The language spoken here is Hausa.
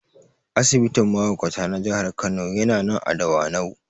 Asibitin mahaukata na Jihar Kano yana nan a Dawanau